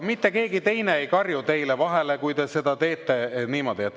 Mitte keegi ei karju teile vahele, kui te.